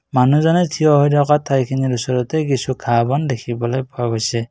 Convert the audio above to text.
মানুহজনে থিয় হৈ থকা ঠাইখিনিৰ ওচৰতে কিছু ঘাঁহ বন দেখিবলৈ পোৱা গৈছে।